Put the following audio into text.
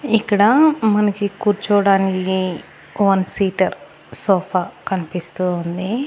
ఇక్కడ మనకి కుర్చోడానికి వన్ సీటర్ సోఫా కన్పిస్తూ ఉంది.